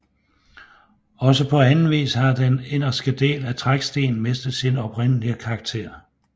Også på anden vis har den inderste del af Trækstien mistet sin oprindelige karakter